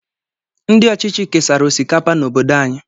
Ndị ọchịchị kesara osikapa n'obodo anyị.